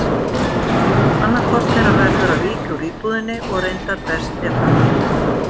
Annaðhvort þeirra verður að víkja úr íbúðinni og reyndar best ef hann gerði það.